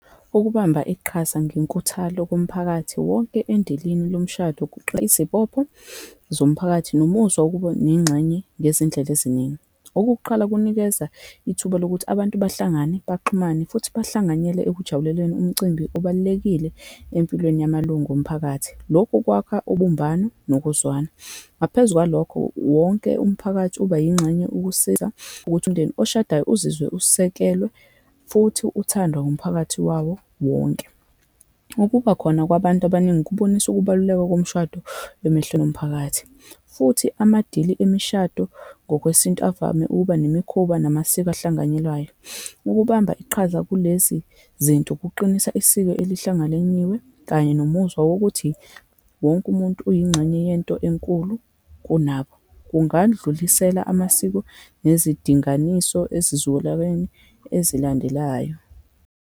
Ukubamba iqhaza ngenkuthalo kumphakathi wonke endilini lomshado izibopho zomphakathi nomuzwa wokuba nengxenye ngezindlela eziningi. Ukokuqala kunikeza ithuba lokuthi abantu bahlangane, baxhumane, futhi bahlanganyele ekujabuleleni umcimbi obalulekile empilweni yamalungu omphakathi. Lokhu kwakha ubumbano nokuzwana. Ngaphezu kwalokho, wonke umphakathi ubayingxenye ukusiza, ukuthi umndeni oshadayo uzizwe usekelwe, futhi uthandwa umphakathi wawo wonke. Ukubakhona kwabantu abaningi kubonisa ukubaluleka komshado emehlweni omphakathi, futhi amadili emishado ngokwesintu avame ukuba nemikhuba namasiko ahlanganyelwayo. Ukubamba iqhaza kulezi zinto kuqinisa isiko alihlangalenyiwe, kanye nomuzwa wokuthi wonke umuntu uyingxenye yento enkulu kunabo. Kungandlulisela amasiko nezidinganiso esizukulaweni ezilandelayo.